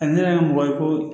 A ne yɛrɛ mɔgɔ ye ko